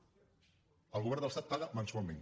) el govern de l’estat paga mensualment